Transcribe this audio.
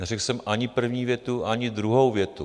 Neřekl jsem ani první větu, ani druhou větu.